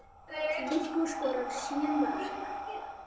Viggó skoraði sjö mörk.